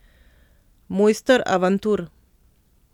Mojster avantur.